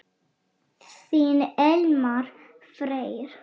Þinn Elmar Freyr.